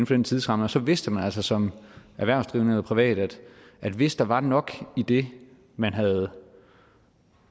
den tidsramme og så vidste man altså som erhvervsdrivende eller privat at hvis der var nok i det man havde